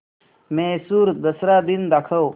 म्हैसूर दसरा दिन दाखव